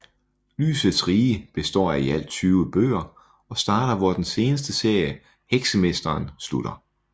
Lysets rige består af i alt 20 bøger og starter hvor den seneste serie Heksemesteren slutter